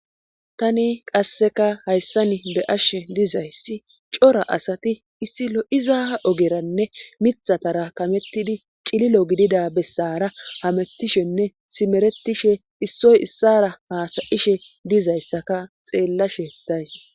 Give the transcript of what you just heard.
tani qasseka hayssan be'ashshe dizayssi cora asati issi lo7iza ogeranne mithatara kamettidi cililo gidida bessara hamettishenne simeretishe issoy issara haasayishe dizayssaka xeellashe days